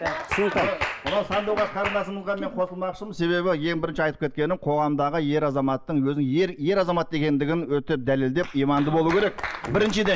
мынау сандуғаш қарындасымызға мен қосылмақшымын себебі ең бірінші айтып кеткенім қоғамдағы ер азаматтың өзінің ер ер азамат екендігін өтеп дәлелдеп иманды болу керек біріншіден